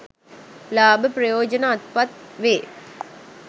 ලාභ ප්‍රයෝජන අත්පත් වේ.